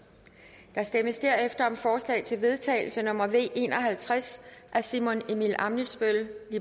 der stemmes derefter om forslag til vedtagelse nummer v en og halvtreds af simon emil ammitzbøll